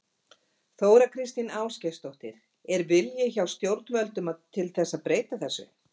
Þóra Kristín Ásgeirsdóttir: Er vilji hjá stjórnvöldum til að breyta þessu?